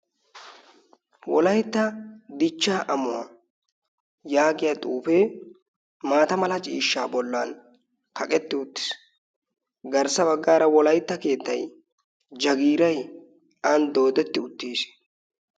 Wolaytta dichchaa Ammuwaa yaaggiya xuufe maata mala ciishshaa bollan kaqqetti uttiis. Garssa baggara wolaytta keettay jaggiray aan dooddetti uttiis.